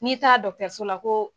N'i taa so la koo